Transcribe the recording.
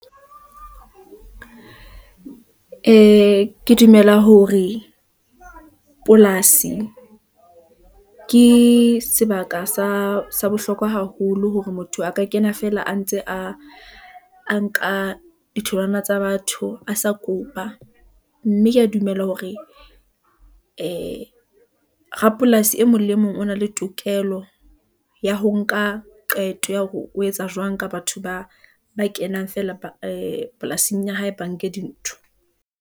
Ee, ke dumela hore polasi ke sebaka sa bohlokwa haholo, hore motho a ka kena feela a ntse a nka ditholwana tsa batho a sa kopa , mme ke ya dumela hore ee rapolasi e mong le mong, o na le tokelo ya ho nka qeto, ya hore o etsa jwang ka batho ba kenang fela polasing ya hae, ba nke dintho.